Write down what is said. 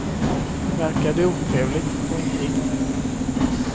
Verkar det otrevligt, gå inte in.